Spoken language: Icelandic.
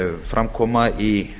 fram koma í